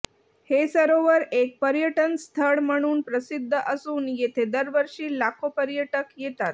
हे सरोवर एक पर्यटनस्थळ म्हणून प्रसिद्ध असून येथे दरवर्षी लाखो पर्यटक येतात